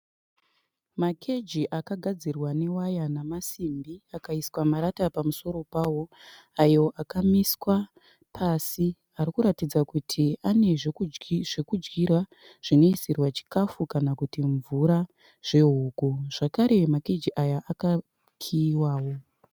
Makeji akagadzirwa newaya namasimbi. Akaiswa marata pamusoro pawo ayo akamlswa pasi ari kuratidza kuti ane zvekudyira zvinoisirwa chikafu kana kuti mvura zvehuku. Zvakare makeji aya akakiyiwawo